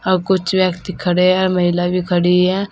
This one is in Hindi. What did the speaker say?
और कुछ व्यक्ति खड़े हैं महिला भी खड़ी है।